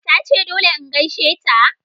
Tace dole in gaisheta.